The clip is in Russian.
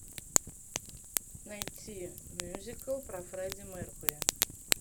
найти мюзикл про фредди меркьюри